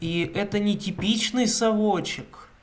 и это нетипичный совочек